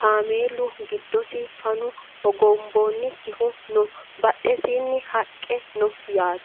kameelu giddosi fanu hogonboonnikihu no badhesiinni haqqe no yaate